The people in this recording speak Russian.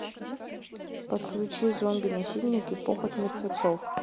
подключи зомби насильники похоть мертвецов